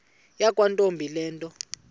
yakwantombi le nto